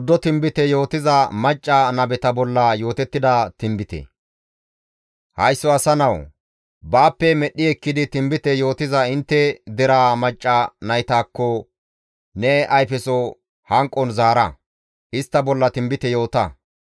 «Haysso asa nawu! Baappe medhdhi ekkidi tinbite yootiza intte deraa macca naytakko ne ayfeso hanqon zaara; istta bolla tinbite yoota.